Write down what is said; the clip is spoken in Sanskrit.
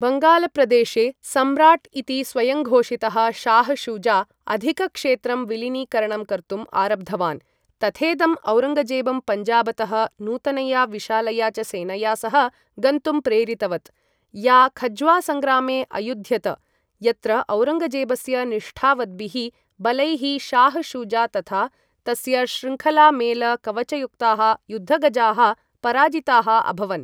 बङ्गालप्रदेशे सम्राट् इति स्वयंघोषितः शाह् शुजा, अधिकक्षेत्रं विलीनीकरणं कर्तुम् आरब्धवान्, तथेदम् औरङ्गजेबं पञ्जाबतः नूतनया विशालया च सेनया सह गन्तुम् प्रेरितवत्, या खज्वा सङ्ग्रामे अयुद्ध्यत, यत्र औरङ्गजेबस्य निष्ठावद्भिः बलैः शाह् शुजा तथा तस्य श्रृङ्खलामेल कवचयुक्ताः युद्धगजाः पराजिताः अभवन्।